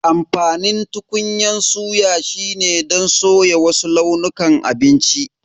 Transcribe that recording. Amfanin tukunyan suya shine don soya wasu launukan abinci.